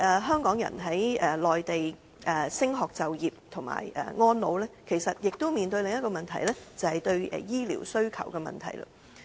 香港人在內地升學、就業及安老，其實亦都面對另一個問題，就是對醫療需求的問題。